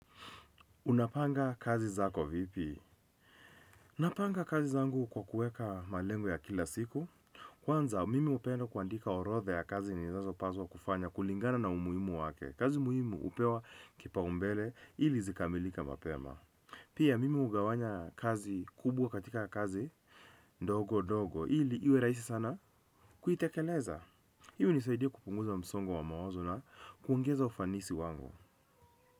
Unapanga kazi zako vipi? Napanga kazi zangu kwa kueka malengo ya kila siku. Kwanza, mimi hupenda kuandika orodha ya kazi ninazopaswa kufanya kulingana na umuhimu wake kazi muhimu hupewa kipaumbele ili zikamilike mapema. Pia, mimi hugawanya kazi kubwa katika kazi ndogo ndogo ili iwe rahisi sana kuitekeleza. Hii hunisaidia kupunguza msongo wa mawazo na kuongeza ufanisi wangu.